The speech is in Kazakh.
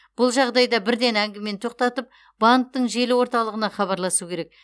бұл жағдайда бірден әңгімені тоқтатып банктің желі орталығына хабарласу керек